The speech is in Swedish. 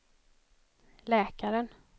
läkaren